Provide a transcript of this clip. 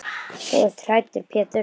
Þú ert hræddur Pétur.